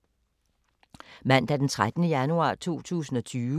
Mandag d. 13. januar 2020